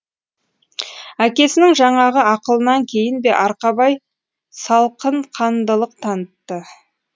әкесінің жаңағы ақылынан кейін бе арқабай салқынқандылық танытты